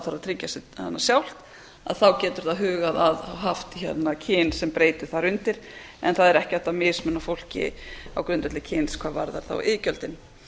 þarf að tryggja sig sjálft að þá getur það hugað að haft kyn sem breytu þar undir en það er ekki hægt að mismuna fólki á grundvelli kyns hvað varðar þá iðgjöldin